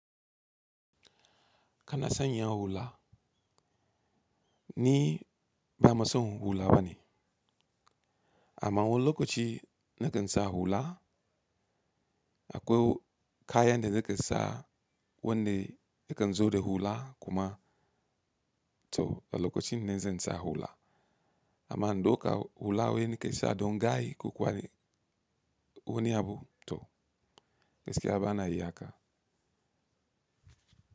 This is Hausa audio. Kana sanyi ha hula ni ba maso hula ba ni. Ama wani lokaci ne kan sa hula, akwe kayan de nake sa wande yakan zo de hula kuma to a lokacin ne zan sa hula. Ama in dauka hula wai nake sa don gayi ko kwari wani abu to. Gaskiya a ba na yi haka.